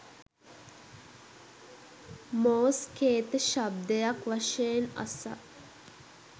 මෝස් කේත ශබ්දයක් වශයෙන් අසා